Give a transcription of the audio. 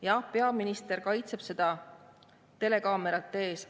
Jah, peaminister kaitseb seda telekaamerate ees.